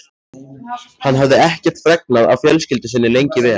Hann hafði ekkert fregnað af fjölskyldu sinni lengi vel.